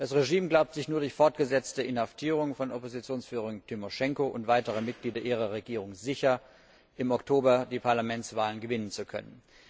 Das Regime glaubt sich nur durch fortgesetzte Inhaftierung von Oppositionsführerin Timoschenko und weiteren Mitgliedern ihrer Regierung sicher, im Oktober die Parlamentswahlen gewinnen zu können.